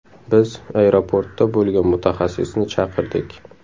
Biz aeroportda bo‘lgan mutaxassisni chaqirdik.